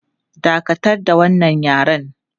Dakatar da wannan yaren!